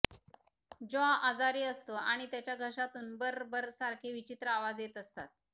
जाँ आजारी असतो आणि त्याच्या घशातून बर्र बर्र सारखे विचित्र आवाज येत असतात